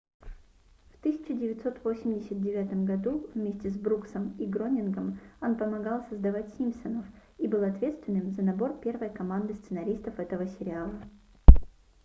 в 1989 году вместе с бруксом и гронингом он помогал создать симпсонов и был ответственным за набор первой команды сценаристов этого сериала